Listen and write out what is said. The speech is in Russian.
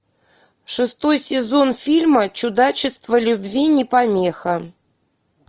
шестой сезон фильма чудачество любви не помеха